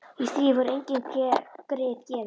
Í stríði voru engin grið gefin.